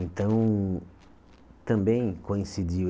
Então, também coincidiu.